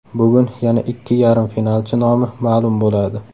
Bugun yana ikki yarim finalchi nomi ma’lum bo‘ladi.